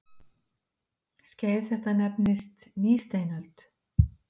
Skeið þetta nefnist nýsteinöld.